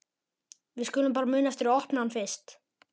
Við skulum bara muna eftir að opna hann fyrst!